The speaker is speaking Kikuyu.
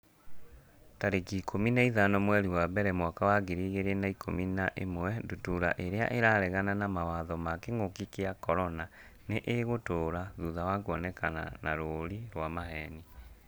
tarĩki ikũmi na ithano mweri wa mbere mwaka wa ngiri igĩrĩ na ikũmi na ĩmwe Ndutura irĩa 'ĩraregana na mawatho ma kĩngũki kia mũrimũ wa CORONA nĩ ĩgũtũra thutha wa kuonekana na rũũri rwa maheeni.